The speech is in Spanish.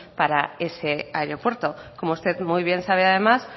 para ese aeropuerto como usted muy bien sabe además